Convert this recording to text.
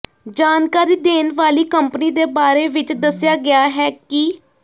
ਜਾਣਕਾਰੀ ਦੇਣ ਵਾਲੀ ਕੰਪਨੀ ਦੇ ਬਾਰੇ ਵਿੱਚ ਦੱਸਿਆ ਗਿਆ ਹੈ ਕਿ